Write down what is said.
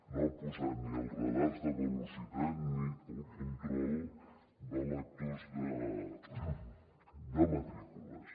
no hi ha posat ni els radars de velocitat ni el control de lectors de matrícules